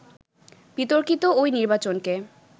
বিতর্কিত ওই নির্বাচনকে